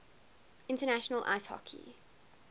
international ice hockey